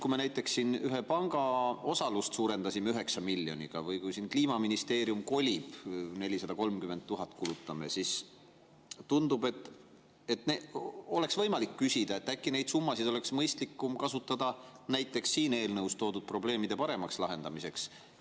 Kui me näiteks siin ühe panga osalust suurendasime 9 miljoniga või kui Kliimaministeerium kolib ja me selleks kulutame 430 000, siis tundub, et oleks võimalik küsida, kas äkki neid summasid oleks mõistlikum kasutada näiteks siin eelnõus toodud probleemide paremaks lahendamiseks.